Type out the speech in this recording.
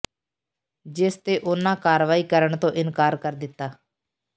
ਜਿਸ ਤੇ ਉਨ੍ਹਾਂ ਕਾਰਵਾਈ ਕਰਨ ਤੋਂ ਇਨਕਾਰ ਕਰ ਦਿੱਤਾ